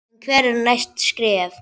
En hver eru næstu skref?